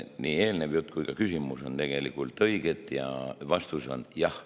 Nii teie eelnev jutt kui ka küsimus on tegelikult õiged ja vastus on jah.